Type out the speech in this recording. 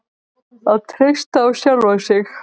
Að treysta á sjálfan sig.